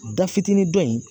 Da fitinin dɔ ye.